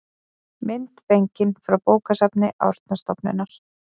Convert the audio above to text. mynd fengin frá bókasafni árnastofnunar